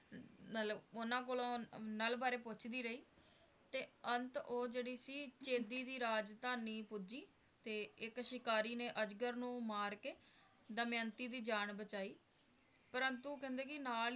ਮਤਲਬ ਉਹਨਾਂ ਕੋਲੋਂ ਨਲ ਬਾਰੇ ਪੁੱਛਦੀ ਰਹੀ ਤੇ ਅੰਤ ਉਹ ਜਿਹੜੀ ਸੀ ਚੇਦੀ ਦੀ ਰਾਜਧਾਨੀ ਪੁੱਜੀ ਤੇ ਇੱਕ ਸ਼ਿਕਾਰੀ ਨੇ ਅਜਗਰ ਨੂੰ ਮਾਰ ਕੇ ਦਮਯੰਤੀ ਦੀ ਜਾਨ ਬਚਾਈ ਪ੍ਰੰਤੂ ਕਹਿੰਦੇ ਨੇ ਨਾਲ